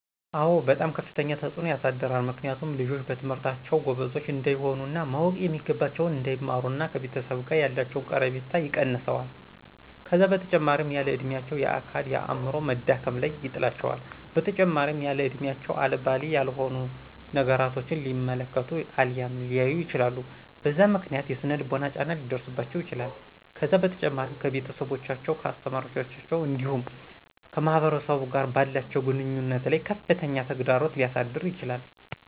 አዎ በጣም ከፍተኛ ተፅዕኖ ያሳድራል ምክንያቱም ልጆች በትምህርታቸው ጎበዞች እንዳይሆኑ እና ማወቅ የሚገባቸውን እንዳይማሩና ከቤተሰብ ጋ ያላቸው ቀረቤታ ይቀንሰዋል ከዛ በተጨማሪም ያለ እድሚያቸው የአካል የአዐምሮ መዳከም ላይ ይጥላቸዋል በተጨማሪም ያለእድሚያቸው አልባሌ ያልሆኑ ነገራቶችን ሊመለከቱ አልያም ሊያዩ ይችላሉ በዛ ምክንያት የሰነ ልቦና ጫና ሊደርሰባቸው ይችላል ከዛ በተጨማሪም ከቤተሰቦቻቸው ከአሰተማሪዎቻቸው እንዲሁም ከማህበረሰቡ ጋር ባላቸው ግንኙነት ላይ ከፍተኛ ተግዳሮት ሊያሳድር ይችላል